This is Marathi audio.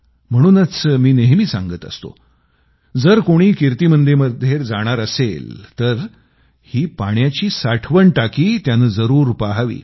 म्हणूनच मी नेहमी सांगत असतो जर कोणी कीर्ती मंदिरमध्ये जाणार असेल तर त्यानं ही पाण्याची साठवण टाकी जरूर पहावी